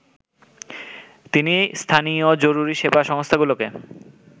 তিনি স্থানীয় জরুরী সেবা সংস্থাগুলোকে